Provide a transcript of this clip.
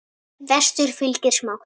Vestur fylgir smátt.